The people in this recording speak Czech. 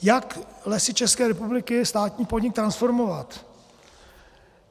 Jak Lesy České republiky, státní podnik, transformovat?